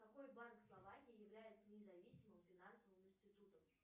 какой банк словакии является независимым финансовым институтом